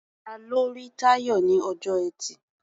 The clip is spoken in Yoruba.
Ta ló rí Táyọ̀ ní ọjọ́ Ẹtì?